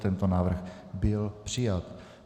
Tento návrh byl přijat.